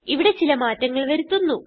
ഇവിടെ ചില മാറ്റങ്ങൾ വരുത്തുന്നു